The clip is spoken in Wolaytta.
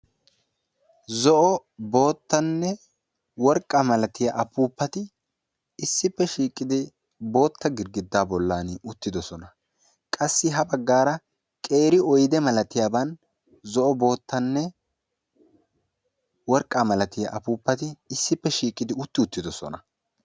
Zo'o boottanne worqqa milatiya apuuppati issippe shiiqidi bootta gidgiddaa bollan uttidosona. Qassi ha baggaara qeeri oyde milatiyaban zo'o boottanne worqqaa milatiya apuuppati issippe shiiqidi utti uttidosona.